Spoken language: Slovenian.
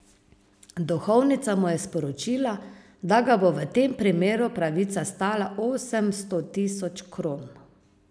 Duhovnica mu je sporočila, da ga bo v tem primeru pravica stala osemsto tisoč kron.